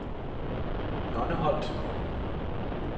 Nonneholt